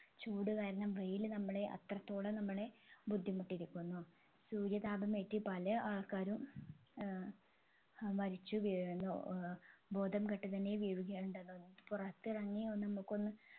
ചൂട് കാരണം വെയിൽ നമ്മളെ അത്രത്തോളം നമ്മളെ ബുദ്ധിമുട്ടിയിരിക്കുന്നു സൂര്യതാപം ഏറ്റ് പല ആൾക്കാരും ഏർ മരിച്ചുവീഴുന്നു ഏർ ബോധം കെട്ട് തന്നെ വീഴുകയാണ് ഉണ്ടാകുന്നത് പുറത്തിറങ്ങി ഒന്ന് നമുക്കൊന്നു